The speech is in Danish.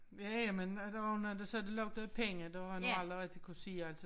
Ja ja men der også nogen der siger det lugter af penge det har jeg nu aldrig rigtig kunne sige altså